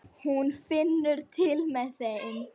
Hún finnur til með þeim.